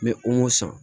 N bɛ o san